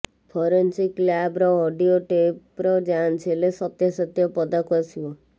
forensic ଲ୍ୟାବର audio ଟେପର ଯାଞ୍ଚ ହେଲେ ସତ୍ୟାସତ୍ୟ ପଦାକୁ ଆସିବ